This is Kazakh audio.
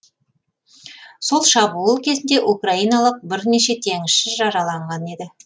сол шабуыл кезінде украиналық бірнеше теңізші жараланған еді